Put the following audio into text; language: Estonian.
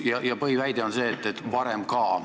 Põhiväide on see, et varem oli ka.